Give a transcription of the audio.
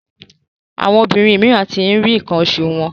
Àwọn obìrin míràn tí rí nkan osu wón.